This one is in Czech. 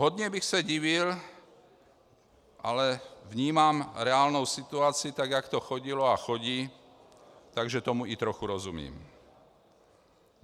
Hodně bych se divil, ale vnímám reálnou situaci, tak jak to chodilo a chodí, takže tomu i trochu rozumím.